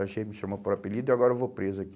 Sargento me chamou por apelido e agora eu vou preso